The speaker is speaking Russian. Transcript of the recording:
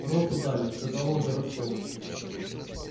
роту дали сказал он горобцову